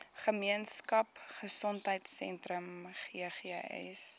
gemeenskap gesondheidsentrum ggs